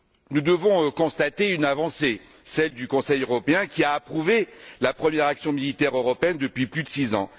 Nous devons constater une avancée, celle du Conseil européen, qui a approuvé la première action militaire européenne depuis plus de six ans.